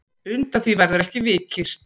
Undan því verður ekki vikist.